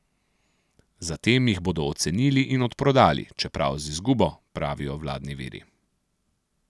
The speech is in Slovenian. Zatem jih bodo ocenili in odprodali, čeprav z izgubo, pravijo vladni viri.